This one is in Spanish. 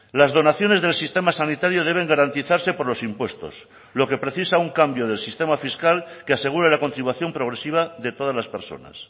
las donaciones del sistema sanitario deben garantizarse por los impuestos lo que precisa un cambio del sistema fiscal que asegure la continuación progresiva de todas las personas